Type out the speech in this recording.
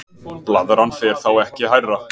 blaðran fer þá ekki hærra